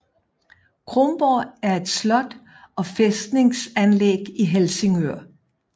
Kronborg er et slot og fæstningsanlæg i Helsingør